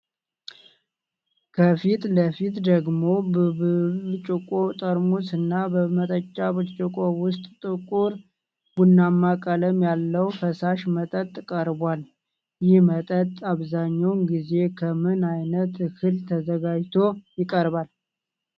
ከፊት ለፊቱ ደግሞ በብርጭቆ ጠርሙሶች እና በመጠጫ ብርጭቆ ውስጥ ጥቁር ቡናማ ቀለም ያለው ፈሳሽ መጠጥ ቀርቧል። ይህ መጠጥ አብዛኛውን ጊዜ ከምን ዓይነት እህል ተዘጋጅቶ ይቀርባል?